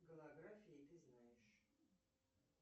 голографии ты знаешь